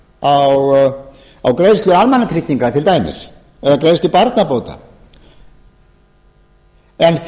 lágmarkssparnaður hafi áhrif á greiðslu almannatrygginga til dæmis eða greiðslu barnabóta en